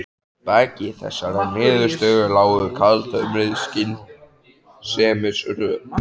Að baki þessari niðurstöðu lágu kaldhömruð skynsemisrök.